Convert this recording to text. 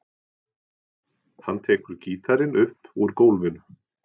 Hann tekur gítarinn upp úr gólfinu.